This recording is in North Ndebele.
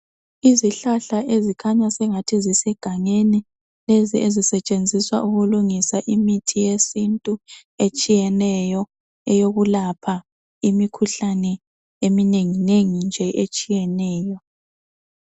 Izihlahla ezikhanya sengathi zisegangeni, lezi ezisetshenziswa ukulungisa imithi yesintu etshiyeneyo eyokulapha imikhuhlane eminenginengi nje etshiyeneyo.